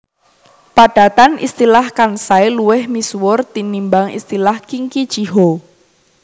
Padatan istilah Kansai luwih musiwur tinimbang istilah Kinki Chiho